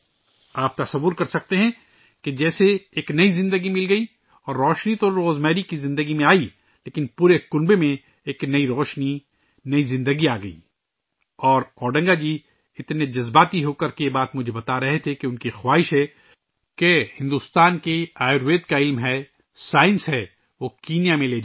آپ سوچ سکتے ہیں، جیسے ایک نئی زندگی مل گئی اور روزمیری کی زندگی میں تو روشنی آگئی لیکن پورے خاندان میں بھی ایک نئی روشنی ، نئی زندگی آگئی ہے اور اوڈنگا جی اتنے جذباتی ہو کر مجھے یہ بات بتا رہے تھے کہ ان کی خواہش ہے کہ بھارت کا آیوروید کا علم ایک سائنس ہے، اسے کینیا میں لے جائیں